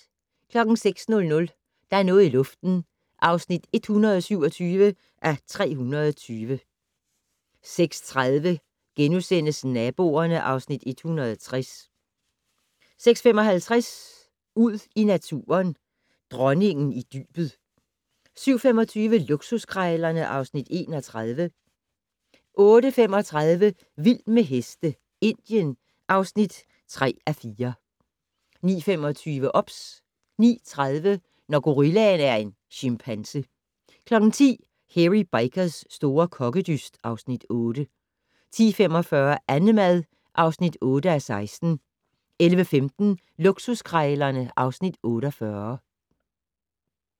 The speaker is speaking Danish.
06:00: Der er noget i luften (127:320) 06:30: Naboerne (Afs. 160)* 06:55: Ud i naturen: Dronningen i dybet 07:25: Luksuskrejlerne (Afs. 31) 08:35: Vild med heste - Indien (3:4) 09:25: OBS 09:30: Når gorillaen er en chimpanse 10:00: Hairy Bikers' store kokkedyst (Afs. 8) 10:45: Annemad (8:16) 11:15: Luksuskrejlerne (Afs. 48)